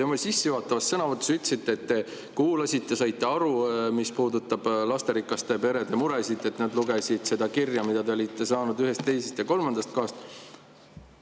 Te oma sissejuhatavas sõnavõtus ütlesite, et te kuulasite ja saite aru, mis puudutab lasterikaste perede muresid, et te lugesite seda kirja, mille te olite saanud ühest, teisest ja kolmandast kohast.